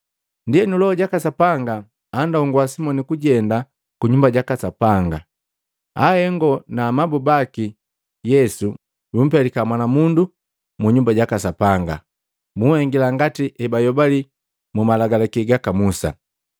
Ndienu Loho jaka Sapanga andongua Simoni kujenda ku Nyumba jaka Sapanga. Ahengo na amabu baka Yesu bumpelika mwana mundu mu Nyumba jaka Sapanga, buhengila ngati hebayobali mu Malagalaki gaka Musa.